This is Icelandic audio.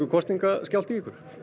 kosningaskjálfti